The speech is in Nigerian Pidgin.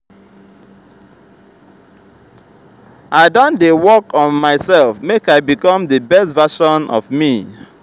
i don dey work on myself make i become di best version of me.